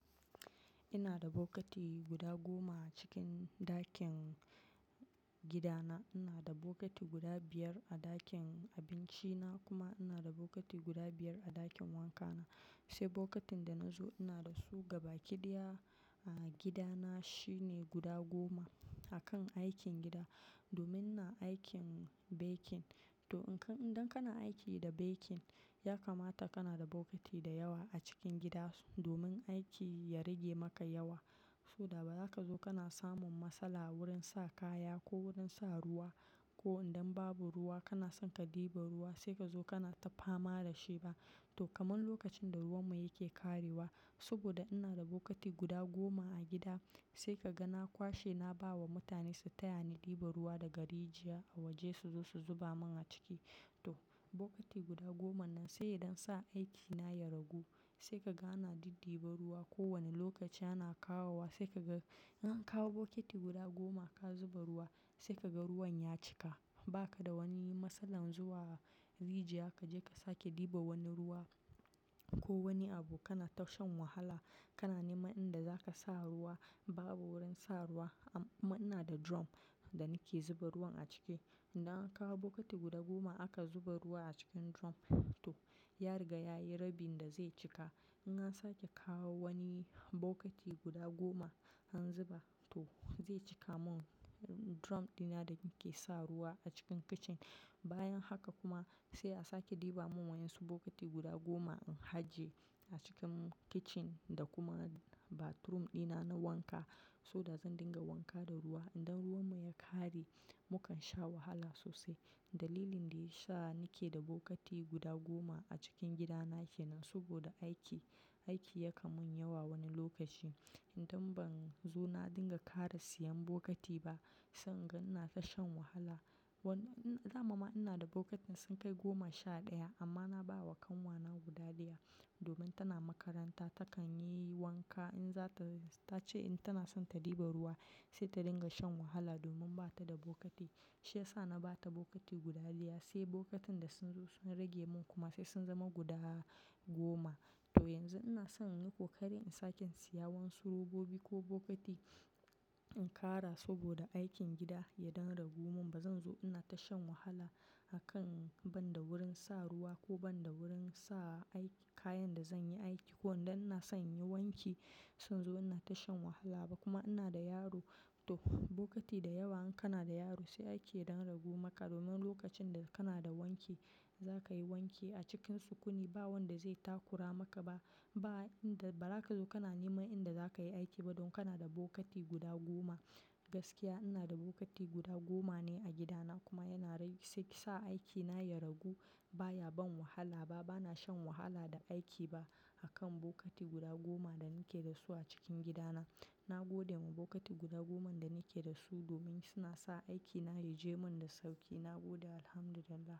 Ina da bokiti guda goma a cikin ɗakin gidana. Ina da bokiti guda biyar a ɗakin abinci na kuma ina da bokiti guda biyar a ɗakin wanka na. Sai bokitin da na zo ina da su gaba kidiya a gida na shine guda goma. A kan aikin gida, domin na aikin baking. To in ka, idan kana aiki da baking, ya kamata kana da bokiti da yawa a cikin gida domin aiki ya rage maka yawa. Saboda ba zaka zo kana samun matsala wurin sa kaya ko wurin sa ruwa ko idan babu ruwa kana son ka ɗiba ruwa sai kazo kana ta fama da shi ba. To kaman lokacin da ruwan mu yake ƙarewa saboda ina da bokiti guda goma a gida sai ka ga na kwashe na ba wa mutane su taya ni ɗiba ruwa daga rijiya a waje su zo su zuba mun a ciki. To bokiti guda goma nan sai idan sa aiki na ya ragu sai ka ga na diddiba ruwa kowane lokaci ana kawowa sai ka ga, idan ka kawo bokiti guda goma ka zuba ruwa sai ka ga ruwan ya cika. Ba ka da wani matsalan zuwa rijiya kaje kasa ki ɗiba wani ruwa ko wani abu kana ta shan wahala. Kana neman inda zaka sa ruwa babu wurin sa ruwa. Amma ina da drum da nake zuba ruwan a ciki. Idan an kawo bokiti guda goma aka zuba ruwa a cikin drum to ya riga yayi rabin da zai cika. In an sake kawo wani bokiti guda goma an zuba to zai cika mun drum dina da nake sa ruwa a cikin kicin. Bayan haka kuma sai a sake ɗiba mun wasu bokiti guda goma in haje a cikin kitchen da kuma bathroom dina na wanka. Saboda zan dinga wanka da ruwa idan ruwan mu ya ƙare mukan sha wahala sosai. Dalilin da ya sa ni ke da bokiti guda goma a cikin gida na ke nan saboda aiki, aiki ya kamun yawa wani lokaci. Idan ban zo na dinga ƙara siyan bokiti ba sanga ina ta shan wahala. Wani, damama ina da bokiti sun kai goma sha ɗaya amma na ba wa kanwa na guda ɗiya domin tana makaranta takan yi wanka in za ta, ta ce in tana son ta ɗiba ruwa sai ta dinga shan wahala domin bata da bokiti. Shi ya sa na ba ta bokiti guda ɗiya sai bokitin da sun zo sun rage mun kuma sai sun zama guda goma. To yanzu ina son in yi kokari in sake siya wasu robobi ko bokiti in ƙara saboda aikin gida ya den ragu mun. Ba zan zo ina ta shan wahala a kan banda wurin sa ruwa ko banda wurin sa aiki, kayan da zan yi aiki. Ko idan ina son in yi wanki zan zo ina ta shan wahala ba kuma ina da yaro. To bokiti da yawa in kana da yaro sai ake den ragu maka domin lokacin da kana da wanki zaka yi wanki a cikin sukuni. Ba wanda zai takura maka ba. Ba inda, ba zaka zo kana neman inda zaka yi aiki ba don kana da bokiti guda goma. Gaskiya ina da bokiti guda goma ne a gida na kuma yana rai sai sa aiki na ya ragu. Ba ya ban wahala ba. Ba na shan wahala da aiki ba a kan bokiti guda goma da ni ke da su a cikin gida na. Na gode ma bokiti guda goma da ni ke da su domin suna sa aiki na ya je mun da sauƙi. Na gode Alhamdulillah.